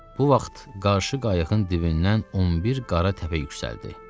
Bu vaxt qarşı qayığın dibindən 11 qara təpə yüksəldi.